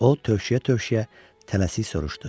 O tövşüyə-tövşüyə tələsik soruşdu.